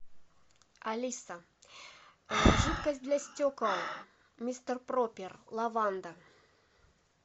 алиса жидкость для стекол мистер пропер лаванда